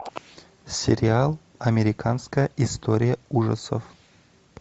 сериал американская история ужасов